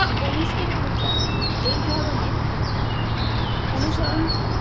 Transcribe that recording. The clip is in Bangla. কণিষ্কের মুদ্রা কিন্তু এই ধরণের অনুসরণ